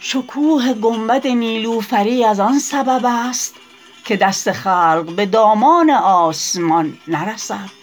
شکوه گنبد نیلوفری از آن سبب است که دست خلق به دامان آسمان نرسد